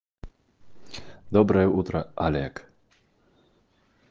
доброе утро олег